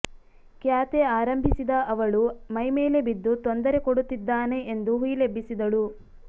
ಕ್ಯಾತೆ ಆರಂಭಿಸಿದ ಅವಳು ಮೈಮೇಲೆ ಬಿದ್ದು ತೊಂದರೆ ಕೊಡುತ್ತಿದ್ದಾನೆ ಎಂದು ಹುಯಿಲೆಬ್ಬಿಸಿದಳು